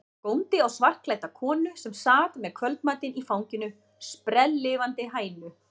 Góndi á svartklædda konu sem sat með kvöldmatinn í fanginu, sprelllifandi hænu.